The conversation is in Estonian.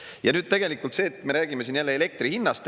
Ja nüüd see, et me räägime siin jälle elektri hinnast.